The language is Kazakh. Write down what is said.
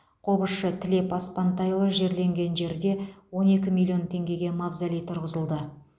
қобызшы тілеп аспантайұлы жерленген жерде он екі миллион теңгеге мавзолей тұрғызылды